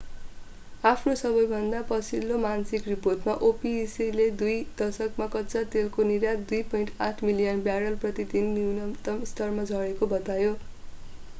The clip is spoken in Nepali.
आफ्नो सबैभन्दा पछिल्लो मासिक रिपोर्टमा opec ले दुई दशकमा कच्चा तेलको निर्यात 2.8 मिलियन ब्यारल प्रति दिनको न्यूनतम स्तरमा झरेको बतायो